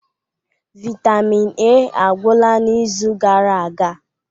Vitamin A agwụla n'izu gara aga